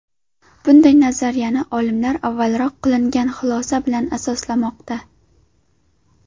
Bunday nazariyani olimlar avvalroq qilingan xulosa bilan asoslamoqda.